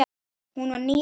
Hún var níræð.